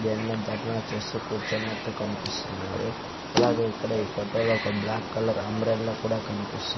ఎన్నో ధర్నా చేస్తూ కూర్చున్నట్టు కనిపిస్తున్నారు అలాగే ఇక్కడ ఈ ఫోటో లో ఒక బ్లాక్ కలర్ అంబ్రెల్లా కూడా కనిపిస్తుంది.